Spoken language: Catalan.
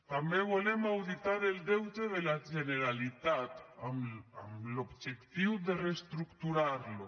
també volem auditar el deute de la generalitat amb l’objectiu de reestructurarlo